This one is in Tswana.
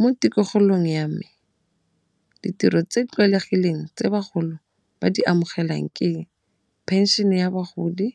Mo tikologong ya me ditiro tse di tlwaelegileng tse bagolo ba di amogelang ke eng, pension-e ya bagodi